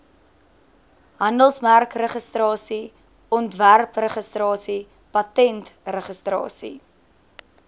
handelsmerkregistrasie ontwerpregistrasie patentregistrasie